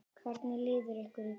Hvernig líður ykkur í kvöld?